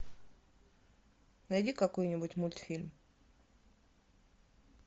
найди какой нибудь мультфильм